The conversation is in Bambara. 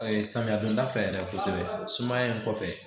samiya donda fɛ yɛrɛ kosɛbɛ sumaya in kɔfɛ